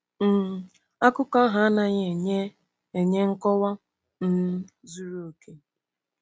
um Akụkọ ahụ anaghị enye enye nkọwa um zuru oke.